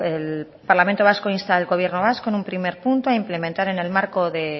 el parlamento vasco insta al gobierno vasco en un primer punto a implementar en el marco de